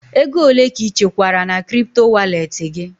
Ego ole ka ị chekwara na kripto walet gị?